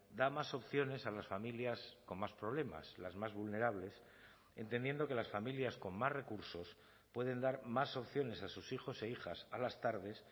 da más opciones a las familias con más problemas las más vulnerables entendiendo que las familias con más recursos pueden dar más opciones a sus hijos e hijas a las tardes